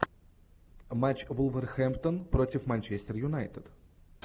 матч вулверхэмптон против манчестер юнайтед